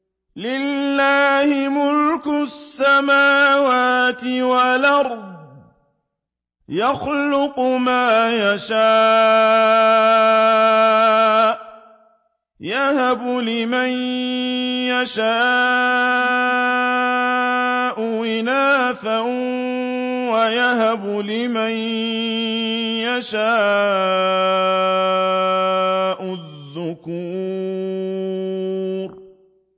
لِّلَّهِ مُلْكُ السَّمَاوَاتِ وَالْأَرْضِ ۚ يَخْلُقُ مَا يَشَاءُ ۚ يَهَبُ لِمَن يَشَاءُ إِنَاثًا وَيَهَبُ لِمَن يَشَاءُ الذُّكُورَ